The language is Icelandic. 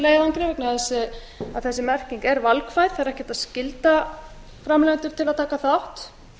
með vegna þess að þessi merking er valkvæð það er ekki hægt að skylda framleiðendur til að taka þátt